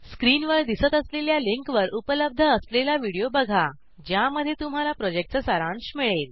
स्क्रीनवर दिसत असलेल्या लिंकवर उपलब्ध असलेला व्हिडिओ बघाज्यामध्ये तुम्हाला प्रॉजेक्टचा सारांश मिळेल